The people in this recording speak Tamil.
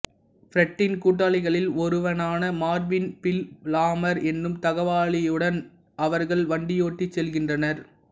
ப்ரெட்டின் கூட்டாளிகளில் ஒருவனான மார்வின் ஃபில் லாமார் எனும் தகவலாளியுடன் அவர்கள் வண்டியோட்டிச் செல்கின்றனர்